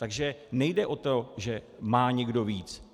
Takže nejde o to, že má někdo víc.